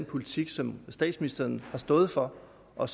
politik som statsministeren har stået for og